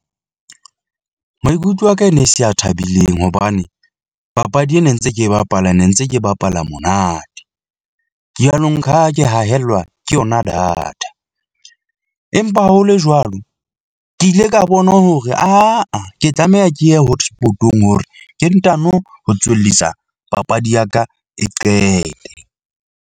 Maikutlo a ka e ne se a thabileng hobane papadi ena ntse ke e bapala ne ntse ke bapala monate . Ke a lo nka ke haellwa ke yona data empa ho le jwalo, ke ile ka bona hore aa ke tlameha ke ye hotspot-ong hore ke ntano ho tswellisa papadi ya ka e qete.